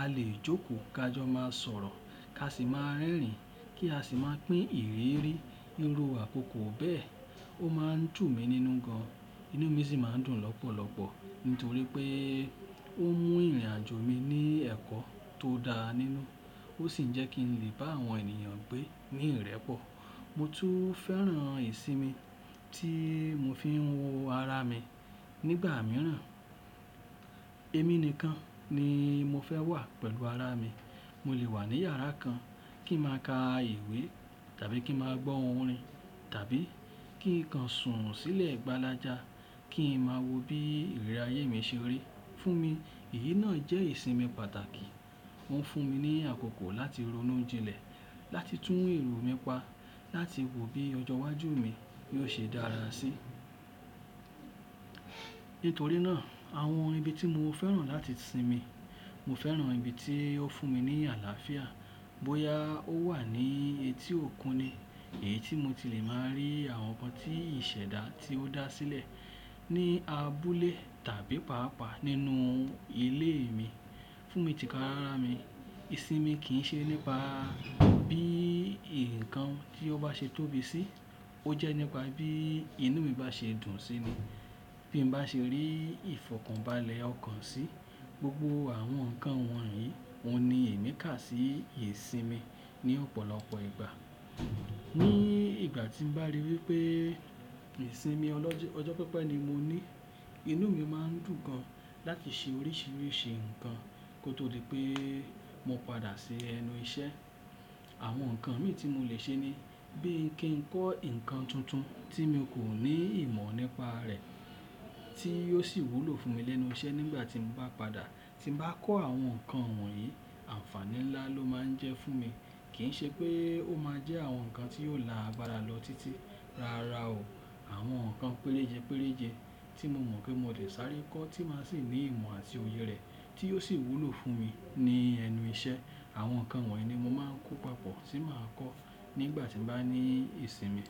A lè jókòó, ka jọ máa sọ̀rọ̀, ka sì máa rẹ́rìn-ín kí a sì máa pín ìrírí ńro àkókò bẹ́ẹ̀. Ó máa ń tù mí nínú gan-an, inú mi sì máa ń dùn lọ́pọ̀lọpọ̀ nítorí pé ó mú ìrìn-àjò mi ní ẹ̀kọ́ tó dáa nínú, ó sì jẹ́ kí ń lè bá àwọn ènìyàn gbé ní ìrẹ́pọ̀. Mo tún fẹ́ràn ìsinmi tí mo fi ń wo ara mi. Nígbà mìíràn, ẹmi nìkan ni mo fẹ́ wà pẹ̀lú ara mi. Mo lè wà ní yàrá kan kí n máa ka ìwé tàbí kí n máa gbọ́ orin tàbí kí ń kan sùn sílẹ̀ gbálájà kí n máa wo bí ìrírí ayé mi ṣe rí. Fún mi, èyí náà jẹ́ ìsinmi pàtàkì. Ó ń fún mi ní àkókò láti ronú jinlẹ̀, láti tún èrò mi pa, láti wo bí ọjọ́ iwájú mi yóò ṣe dára síi. Nítorí náà, àwọn ibi tí mo fẹ́ràn láti sinmi, mo fẹ́ràn ibi tí ó fún mi ní àlàáfíà, bóyá ó wà ní etí òkun ni, èyí tí mo ti lè máa rí àwọn nǹkan tí ìṣèdá ti ó dá sílẹ̀, ní abúlé tàbí pàápàá nínú ilé mi. Fún mi tìkáràmi, ìsinmi kì í ṣe nípa bí nǹkan tí ó bá ṣe tóbi sí, ó jẹ́ nípa bí inú mi bá ṣe dùn síi ni, bí mo bá ṣe rí ìfọ̀kàbàlẹ̀ ọkàn sí. Gbógbó àwọn nǹkan wọ̀nyí, òun ni èmi kà sí ìsinmi ní ọ̀pọ̀lọpọ̀ ìgbà. Ní ìgbà tí mo bá rí wí pé ìsinmi ọjọ́ pẹ́pẹ́ ni mo ní, inú mi máa ń dùn gan-an láti ṣe oríṣiríṣi nǹkan kó tó di pé mo padà sí ẹnu iṣẹ́. Àwọn nǹkan míì tí mo lè ṣe ni bí kí ń kọ́ nǹkan tuntun tí mo kò ní ìmọ̀ nípa rẹ̀ tí yóò sì wúlò fún mi lẹ́nu iṣẹ́ nígbà tí mo bá padà. Tí mo bá kọ́ àwọn nǹkan wọ̀nyí, àǹfàní ńlá ló máa jẹ́ fún mi. Kì í ṣe pé ó máa jẹ́ àwọn nǹkan tí yóò lá agbara lọ tití, rárá o. Àwọn nǹkan péréje péréje tí mo mọ̀ pé mo dè ṣárí kọ́ tí mà sí ní ìmọ̀ àti oyè rẹ̀ tí yóò sì wúlò fún mi ní ẹnu iṣẹ́. Àwọn nǹkan wọ̀nyí ni mo máa ń kó papọ̀, tí mà á kọ́ nígbà tí mo bá ní ìsinmi.